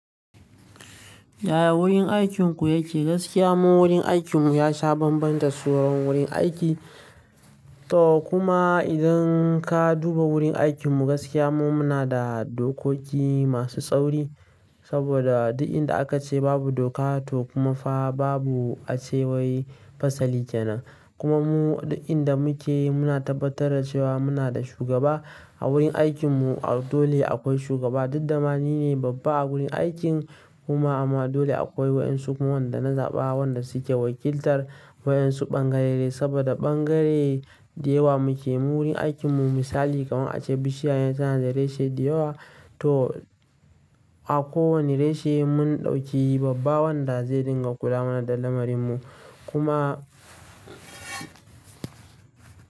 Yaya wurin aikinku yake? Gaskiya mun wurin aikin mu ya sha bambanta da sauran wurin aiki. To kuma idan ka duba wurin aikin mu gaskiya mun muna da dokoki masu tsauri. Saboda duk inda aka ce babu doka to kuma fa babu acewar fasali kenan. Kuma mu duk inda muke muna tabbatar da cewa muna da shugaba a wurin aikin mu. Dole akwai shugaba, duk damani ne babba a wurin aikin kuma amma dole akwai wayan su kuma wanda na zaɓa wanda suke wakiltar wayan su bangare. Saboda bangare da yawa muke mu wurin aikin mu misali kamar ace bishiya yana da reshe da yawa to a ko wani reshe mun ɗauki babba wanda zai dinga kula mana da lamarin mu kuma.